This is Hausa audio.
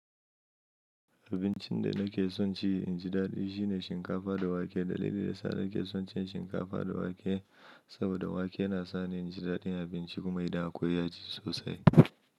Abincin da nake son ci inji daɗi shine shinkafa da wake. Dalili da yasa nake son cin shinkafa da wake saboda wake na sa ni inji daɗin abinci kuma idan akwai yaji sosai.